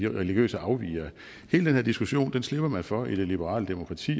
religiøse afvigere hele den her diskussion slipper man for i det liberale demokrati